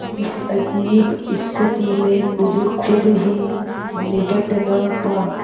इस अजीब स्थिति से मुझे खुद ही निबटना था